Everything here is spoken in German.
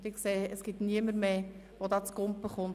– Ich sehe, dass sich niemand mehr meldet.